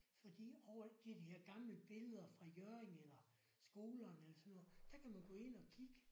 Fordi og det er de her gamle billeder fra Hjørring eller skolerne eller sådan noget der kan man gå ind og kigge